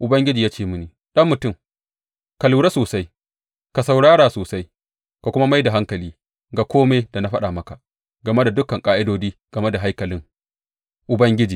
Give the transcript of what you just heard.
Ubangiji ya ce mini, Ɗan mutum, ka lura sosai, ka saurara sosai ka kuma mai da hankali ga kome da na faɗa maka game da dukan ƙa’idodi game da haikalin Ubangiji.